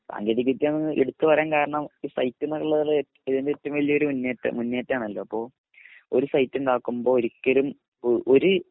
സാങ്കേതിക വിദ്യ എന്ന് എടുത്ത് പറയാൻ കാരണം ഈ സൈറ്റ് എന്നുള്ളൊരു അതിൻ്റെ ഏറ്റവും വലിയ മുന്നേറ്റം ആണല്ലോ അപ്പൊ ഒരു സൈറ്റ് ഉണ്ടാകുമ്പോ ഒരിക്കലും ഒരു